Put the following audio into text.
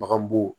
Bagan bo